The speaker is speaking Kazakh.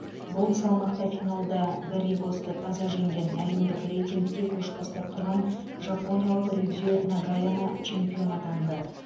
бұл салмақта финалда гарригосты таза жеңген әлемдік рейтингте көш бастап тұрған жапониялық рюдзю нагаяма чемпион атанды